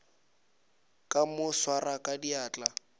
ka mo swara ka diatla